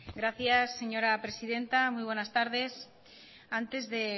gracias señora presidenta muy buenas tardes antes de